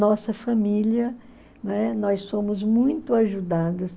Nossa família, né, nós somos muito ajudadas.